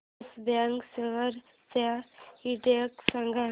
yes Bank shares चा index सांगा